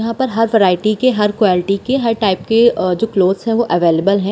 यहाँ पर हर वैरायटी के हर क्वालिटी के हर टाइप के अ जो क्लॉथ्स जो है वो अवेलेबल हैं।